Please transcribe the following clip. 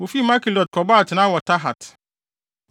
Wofii Makhelot kɔbɔɔ atenae wɔ Tahat.